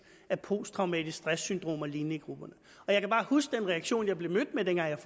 af posttraumatisk stress syndrom og lignende i grupperne og jeg kan bare huske den reaktion jeg blev mødt med dengang jeg